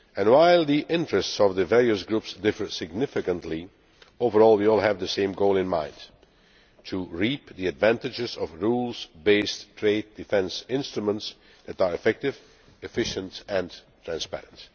While the interests of the various groups differ significantly, overall we all have the same goal in mind to reap the advantages of rules based trade defence instruments that are effective, efficient and transparent.